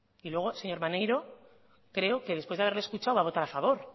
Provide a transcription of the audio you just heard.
y luego señor maneiro creo que después de haberle escuchado va a votar a favor